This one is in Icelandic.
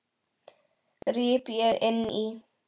gríp ég inn í.